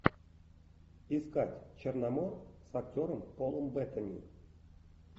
искать черномор с актером полом беттани